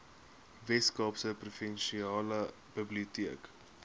weskaapse provinsiale biblioteke